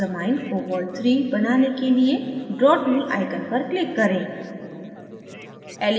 hexammine cobalt iii बनाने के लिए draw tool icon पर click करें